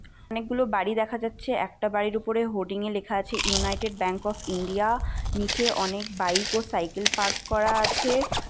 অনেকগুলো বাড়ি দেখা যাচ্ছে একটা বাড়ির উপরে হোর্ডিং এ লেখা আছে ইউনাইটেড ব্যাঙ্ক অফ ইন্ডিয়া নিচে অনেক বাইক ও সাইকেল পার্ক করা আছে ।